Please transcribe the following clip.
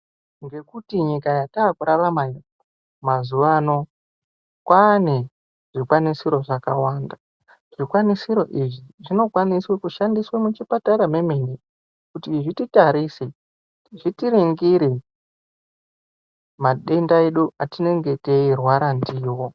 Ngekuti nyika yatavekurarama mazuva ano kwaane zvikwanisiro zvakawanda. Zvikwanisiro izvi zvinokwanise kushandiswe muchipatara mwemene kuti zvititarise, zvitiringire matenda edu etinenge teirwara ndiwo.